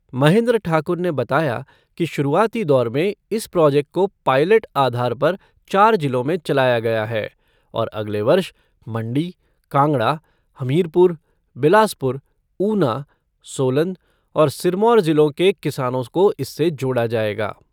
महेन्द्र ठाकुर ने बताया कि शुरूआती दौर में इस प्रॉजेक्ट को पाईलेट आधार पर चार जिलों में चलाया गया है और अगले वर्ष मंडी, कांगड़ा, हमीरपुर, बिलासपुर, ऊना, सोलन और सिरमौर जिलों के किसानों को इससे जोड़ा जाएगा।